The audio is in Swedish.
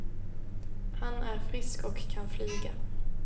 Han är frisk och kan flyga.